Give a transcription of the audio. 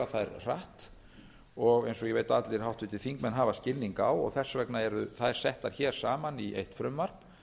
þær hratt eins og ég veit að allir háttvirtir þingmenn hafa skilning á og þess vegna eru þær settar saman í eitt frumvarp